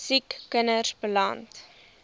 siek kinders beland